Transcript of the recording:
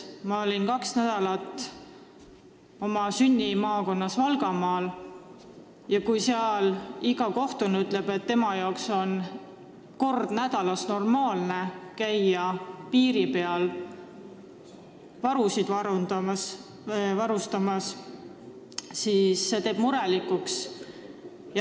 Ma olin kaks nädalat oma sünnimaakonnas Valgamaal ja kui seal igaüks, kellega räägid, ütleb, et tema jaoks on normaalne käia kord nädalas Lätis varusid täiendamas, siis see teeb murelikuks.